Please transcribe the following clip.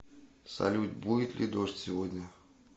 салют будет ли дождь сегодня